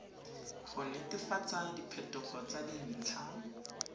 go netefatsa diphetogo tsa dintlha